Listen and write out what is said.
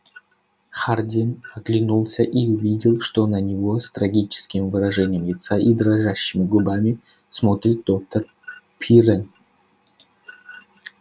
хардин оглянулся и увидел что на него с трагическим выражением лица и дрожащими губами смотрит доктор пиренн